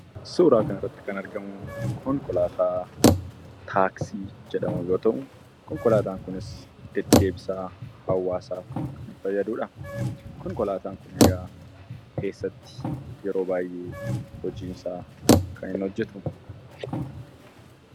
Suuraa kanarratti kan argamu konkolaataa taaksii jedhamu yoo ta'u, konkolaataan kunis deddeebisa hawaasaaf kan fayyadudha. Konkolaataan kun egaa eessatti kan hojiisaa yeroo baay'ee hojjata?